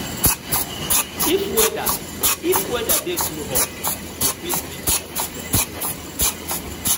If weather If weather dey too hot, we fit drink plenty water